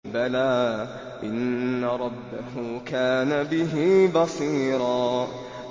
بَلَىٰ إِنَّ رَبَّهُ كَانَ بِهِ بَصِيرًا